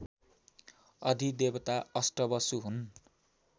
अधिदेवता अष्टवसु हुन्